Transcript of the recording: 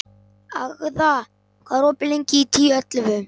Agða, hvað er opið lengi í Tíu ellefu?